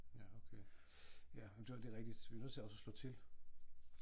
Ja okay ja det er rigtigt vi er nødt til også at slå til